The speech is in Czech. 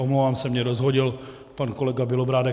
Omlouvám se, mě rozhodil pan kolega Bělobrádek.